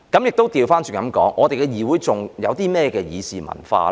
我可以反過來問，我們的議會還有甚麼議事文化呢？